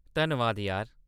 धन्नबाद यार।